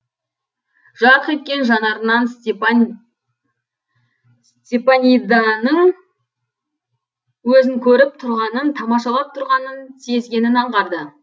жарқ еткен жанарынан степаниданың өзін көріп тұрғанын тамашалап тұрғанын сезгенін аңғарды